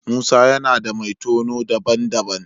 Musa yana da mai tono daban-daban.